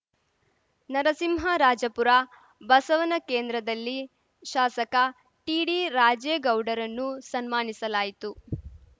ನರಸಿಂಹರಾಜಪುರ ಬಸವನ ಕೇಂದ್ರದಲ್ಲಿ ಶಾಸಕ ಟಿಡಿರಾಜೇಗೌಡರನ್ನು ಸನ್ಮಾನಿಸಲಾಯಿತು